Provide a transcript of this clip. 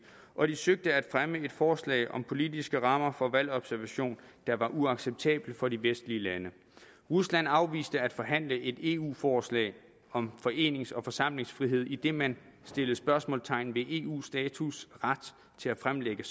og de søgte at fremme et forslag om politiske rammer for valgobservation der var uacceptabelt for de vestlige lande rusland afviste at forhandle et eu forslag om forenings og forsamlingsfrihed idet man stillede spørgsmålstegn ved eus status og ret til at fremlægge